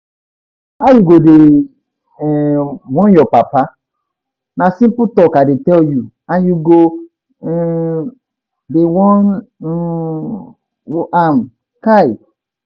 How you go dey um warn your papa? na simple talk I tell you and you go um dey warn um am, kai!